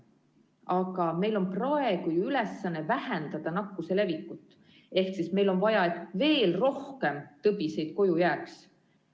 Aga meie praegune ülesanne on ju vähendada nakkuse levikut ehk meil on vaja, et veel rohkem tõbiseid koju jääks.